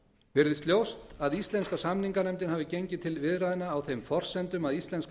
virðist ljóst að íslenska samninganefndin hafi gengið til viðræðna á þeim forsendum að íslenska